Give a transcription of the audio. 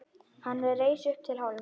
Hann reis upp til hálfs.